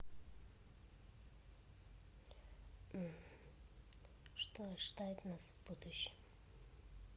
что ожидает нас в будущем